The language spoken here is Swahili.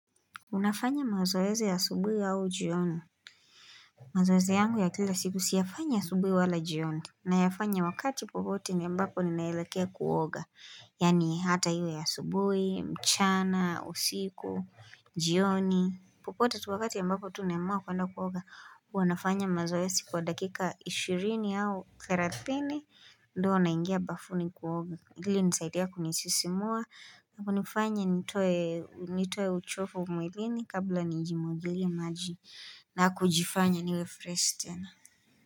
Unafanya mazoeze ya asubui au jioni. Mazoeze yangu ya kila siku siyafanya ya subui wala jioni. Na yafanya wakati popote niyambapo ni nailekea kuoga. Yani hata iwe asubui, mchana, usiku, jioni. Popote tu wakati ya mbapo tu nemaa kwenda kuoga. Wanafanya mazoezi kwa dakika ishiri au therathini. Ndwa naingia bafuni kuoga. Hili nisaidia kunisisimua. Na kunifanya nitoe uchofu mwilini kabla nijimogili maji na kujifanya niwe fresh tena.